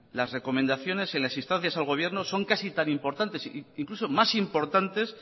las recomendaciones en las instancias al gobierno son casi tan importantes e incluso más importantes